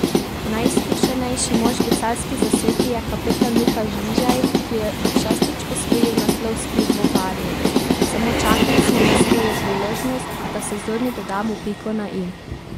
Najizkušenejši mož v celjski zasedbi je kapetan Luka Žvižej, ki je šestič osvojil naslov s pivovarji: 'Samo čakali smo na svojo priložnost, da sezoni dodamo piko na i.